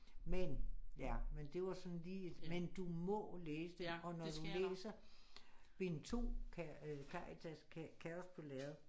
Men jeg men det var sådan lige et men du må læse den og når du læser bind 2 Karitas kaos på lærred